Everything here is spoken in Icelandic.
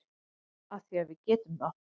Af því að við getum það.